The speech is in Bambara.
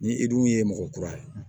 Ni i dun ye mɔgɔ kura ye